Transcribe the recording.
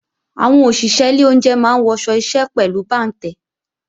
Àwọn òṣìṣé ilé oúnje máa ń wọṣọ iṣẹ́ pẹ̀lú bàǹtẹ́